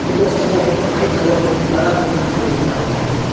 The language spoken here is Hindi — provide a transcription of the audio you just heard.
इस तस्वीर में एक व्हाइट कलर के एक बड़ा बिल्डिंग भी देख रहा है।